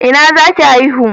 Ina zaki haihu?